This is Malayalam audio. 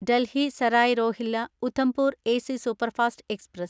Delhi Sarai Rohilla Udhampur AC superfast express